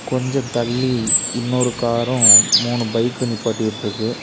கொஞ்சம் தள்ளி இன்னொரு காரும் மூணு பைக் நிப்பாட்டி விட்ருக்கு.